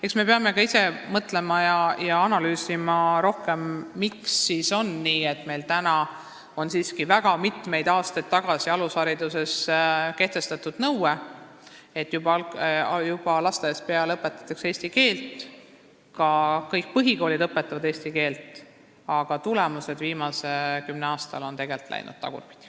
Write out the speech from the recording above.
Eks me peame ka ise rohkem mõtlema ja analüüsima, miks siis on nii, et meil täna siiski kehtib alushariduses väga mitmeid aastaid tagasi kehtestatud nõue, et juba lasteaias õpetatakse eesti keelt, ka kõik põhikoolid õpetavad eesti keelt, aga tulemused on viimase kümne aasta jooksul läinud tagurpidi.